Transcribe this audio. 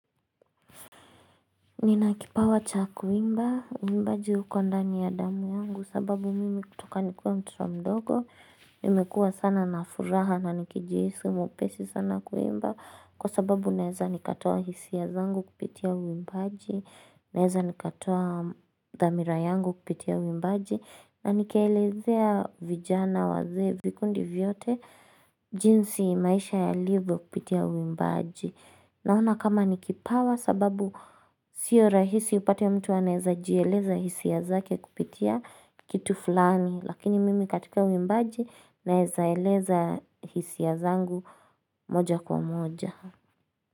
Nina kipawa cha kuimba, uimbaji uko ndani ya damu yangu sababu mimi kutoka nikiwa mtoto mdogo, nimekua sana na furaha na nikijihisi mwepesi sana kuimba kwa sababu naeza nikatoa hisia zangu kupitia uimbaji, naeza nikatoa dhamira yangu kupitia uimbaji na nikeelezea vijana wazee vikundi vyote jinsi maisha yalivyo kupitia uimbaji. Naona kama ni kipawa sababu sio rahisi upate ya mtu anaeza jieleza hisia zake kupitia kitu fulani. Lakini mimi katika uimbaji naeza eleza hisia zangu moja kwa moja.